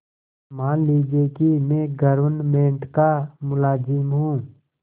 मान लीजिए कि मैं गवर्नमेंट का मुलाजिम हूँ